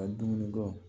Ka dumuni bɔ